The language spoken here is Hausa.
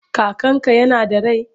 Kakanka yana da rai?